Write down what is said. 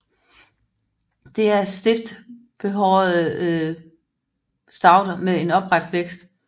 Det er stift behårede stauder med en opret vækst